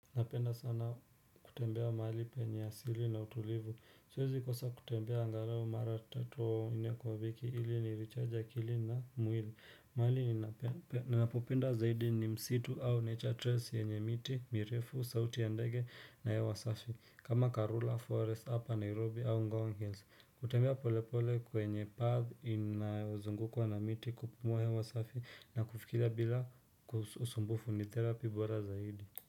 Napenda sana kutembea mahali penye asili na utulivu. Siwezi kosa kutembea angalao mara tatu au nne kwa wiki ili nirecharge akili na mwili. Mahali ninapopenda zaidi ni msitu au nature trace yenye miti, mirefu, sauti ya ndege na ya wasafi. Kama Karula Forest hapa Nairobi au Ngong Hills. Kutembea polepole kwenye path inazungukwa na miti kupumua hewa safi na kufikiria bila usumbufu ni therapy bora zaidi.